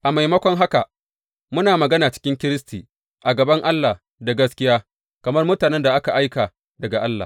A maimakon haka, muna magana cikin Kiristi a gaban Allah da gaskiya, kamar mutanen da aka aika daga Allah.